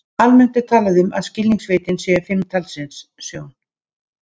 Almennt er talað um að skilningarvitin séu fimm talsins: Sjón.